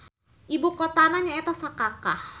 Ibu kotana nyaeta Sakakah.